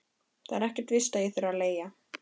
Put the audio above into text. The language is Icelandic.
Það er ekkert víst að ég þurfi að leigja.